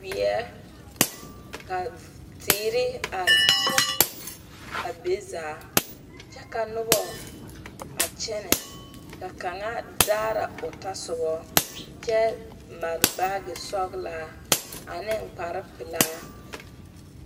wie ka teere are,a be zaa kyɛ ka noba a kyɛne ka kaŋa daara o tɔsobo kyɛ mare baage sɔglaa ane kparre ane kpare pɛlaa.